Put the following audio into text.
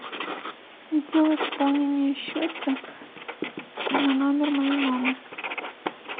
сделай пополнение счета на номер моей мамы